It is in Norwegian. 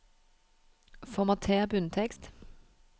Formater bunntekst